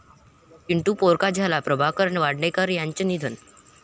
चिंटू पोरका झाला..प्रभाकर वाडेकर यांचं निधन